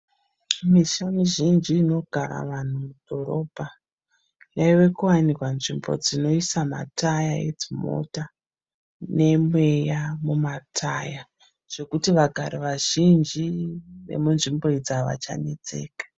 Misha mizhinji inogara vanhu mudhorobha. Yave kuwanikwa nzvimbo dzinoiswa mataya edzimota nemweya mumataya. Zvekuti vanhu vazhinji vemunzvimbo iyi havachanetseka.